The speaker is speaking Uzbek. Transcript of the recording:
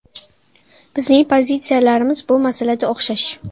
Bizning pozitsiyalarimiz bu masalada o‘xshash.